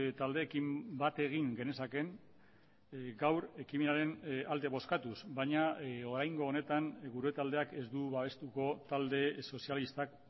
taldeekin bat egin genezakeen gaur ekimenaren alde bozkatuz baina oraingo honetan gure taldeak ez du babestuko talde sozialistak